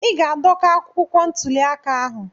Ị ga-adọka akwụkwọ ntuli aka ahụ.